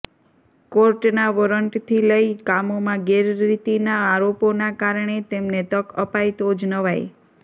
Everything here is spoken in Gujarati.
કોર્ટના વોરંટથી લઈ કામોમાં ગેરરીતિના આરોપોના કારણે તેમને તક અપાય તો જ નવાઈ